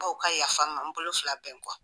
B'aw ka yafa n ma n bolo fila bɛ n kɔ